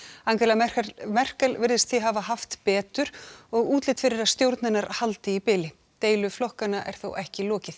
Angela Merkel Merkel virðist því hafa haft betur og útlit fyrir að stjórn hennar haldi í bili deilu flokkanna er þó ekki lokið